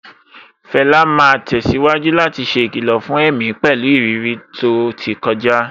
Fela máa tẹ̀síwájú láti ṣe ìkìlọ̀ fún èmi pẹ̀lú ìrírí tó ti kọjá.